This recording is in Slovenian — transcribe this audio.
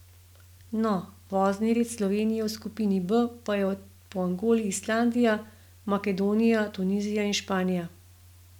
No, vozni red Slovenije v skupini B pa je po Angoli Islandija, Makedonija, Tunizija in Španija.